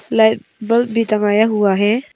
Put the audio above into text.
Light bulb भी टंगाया हुआ है।